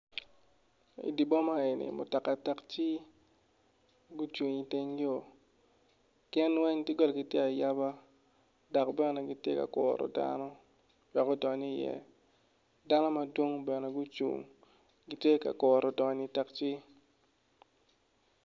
I dye boma eni mutoka takci gucung i teng yo gin weng doggolagi tye ayaba dok bene gitye ka kuru dano wek odony iye dano madwong bene gucung gitye ka kuro donyo i takci.